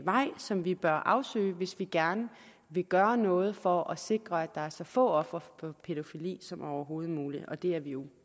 vej som vi bør afsøge hvis vi gerne vil gøre noget for at sikre at der er så få ofre for pædofili som overhovedet muligt og det er vi jo